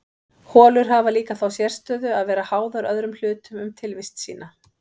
Holur hafa líka þá sérstöðu að vera háðar öðrum hlutum um tilvist sína.